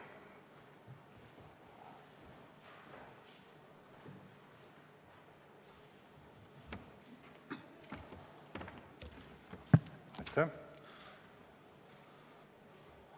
Aitäh!